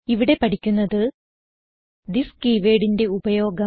ഇവിടെ പഠിക്കുന്നത് തിസ് keywordന്റെ ഉപയോഗം